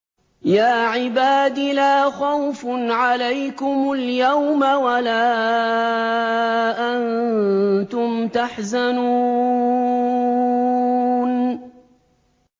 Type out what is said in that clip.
يَا عِبَادِ لَا خَوْفٌ عَلَيْكُمُ الْيَوْمَ وَلَا أَنتُمْ تَحْزَنُونَ